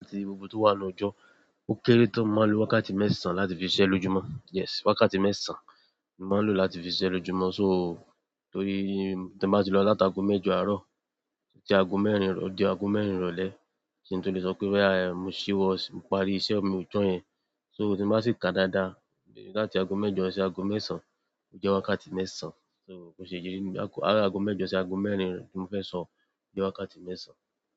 Àti gbogbo to wa nínú ojo, òkéré tán mo máa n lo wákàtí mẹ́sàn láti fi sisé lójúmọ́. Yes wákàtí mẹ́sàn-án ni màá ń lò láti fi ṣẹ́ lójúmọ́, so torí tí mo bá ti lọ láti ago mẹ́jọ àárọ̀ odi ago mẹ́rin ìrọ̀lẹ́, kin to le sọ pé "bóyá, ẹm mo ṣíwọ, mo parí iṣẹ́ mi ọjọ́ yẹn". So tí mo bá sì ka dáadáa, láti ago mẹ́jọ sí ago mẹ́sàn-án, ó jẹ́ wákàtí mẹ́sàn-án. So ko ṣe jẹ́ ní àárọ̀ ago mẹ́jọ sí ago mẹ́rin tí mo fẹ́ sọ, ó jẹ́ wákàtí mẹ́sàn-án.